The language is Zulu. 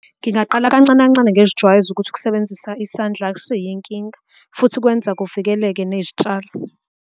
Ngingaqala kancane kancane ngizijwayeza ukuthi ukusebenzisa isandla akusiyo inkinga futhi kwenza kuvikeleke nezitshalo.